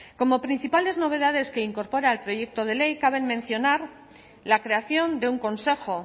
como principales novedades que incorpora el proyecto de ley cabe mencionar la creación de un consejo